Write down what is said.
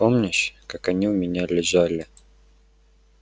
ты помнишь как они у меня лежали